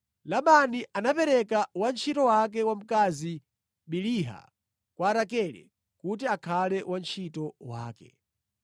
Labani anapereka wantchito wake wamkazi Biliha kwa Rakele kuti akhale wantchito wake.